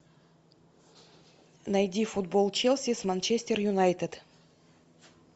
найди футбол челси с манчестер юнайтед